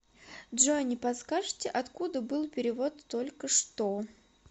джой не подскажите откуда был перевод толькошто